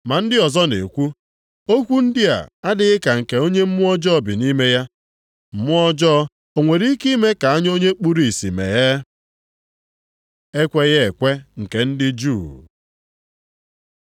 Ma ndị ọzọ na-ekwu, “Okwu ndị a adịghị ka nke onye mmụọ ọjọọ bi nʼime ya. Mmụọ ọjọọ o nwere ike ime ka anya onye kpuru ìsì meghee?” Ekweghị ekwe nke ndị juu